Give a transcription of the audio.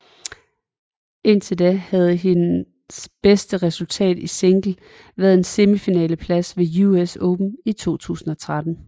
Indtil da havde hendes bedste resultat i single været en semifinaleplads ved US Open i 2013